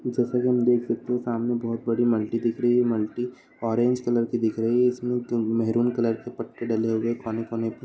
जैसा की हम देख सकते सामने बहुत बड़ी मल्टी दिख रही है। मल्टी ऑरेंज कलर की दिख रही है। इसमें मेहरून कलर के पट्टे डले हुए हैं कोने-कोने पे।